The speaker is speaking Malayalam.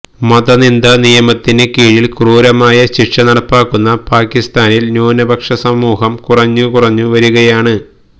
മതനിന്ദ നിയമത്തിന് കീഴില് ക്രൂരമായ ശിക്ഷ നടപ്പാക്കുന്ന പാക്കിസ്ഥാനില് ന്യൂനപക്ഷ സമൂഹം കുറഞ്ഞുകുറഞ്ഞു വരികയാണ്